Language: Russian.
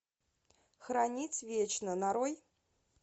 хранить вечно нарой